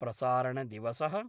प्रसारणदिवस: